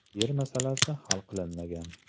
Yer masalasi hal qilinmagan.